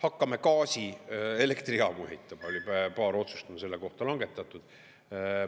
Hakkame gaasielektrijaamu ehitama, oli paar otsust selle kohta langetatud.